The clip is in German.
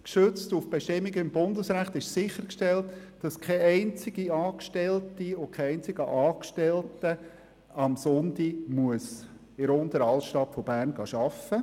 Gestützt auf Bestimmungen im Bundesrecht ist zweitens sichergestellt, dass keine einzige Angestellte und kein einziger Angestellter am Sonntag in der Unteren Altstadt arbeiten muss.